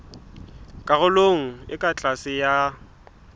karolong e ka tlase ya